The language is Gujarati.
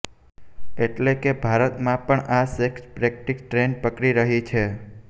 એટલે કે ભારતમાં પણ આ સેક્સ પ્રેક્ટિસ ટ્રેંડ પકડી રહી છે